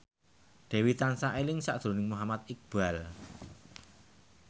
Dewi tansah eling sakjroning Muhammad Iqbal